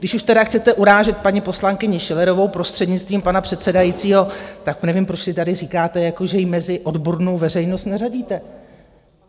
Když už tedy chcete urážet paní poslankyni Schillerovou, prostřednictvím pana předsedajícího, tak nevím, proč tady říkáte, jako že ji mezi odbornou veřejnost neřadíte.